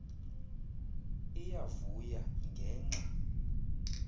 iya vuya ngenxa